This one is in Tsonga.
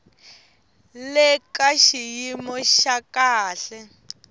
le ka xiyimo xa kahle